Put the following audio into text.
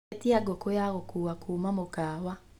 atia ngũkũ ya gukuwa kuma mukawa